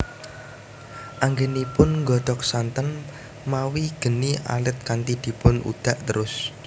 Anggenipun nggodhog santen mawi geni alit kanthi dipun udhak terus